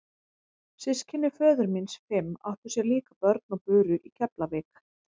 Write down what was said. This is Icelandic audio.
Systkini föður míns fimm áttu sér líka börn og buru í Keflavík.